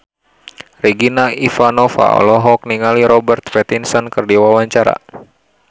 Regina Ivanova olohok ningali Robert Pattinson keur diwawancara